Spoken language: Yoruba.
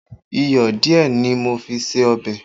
Iyọ̀ díẹ̀ ni mo fi sí ọbẹ̀